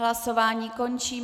Hlasování končím.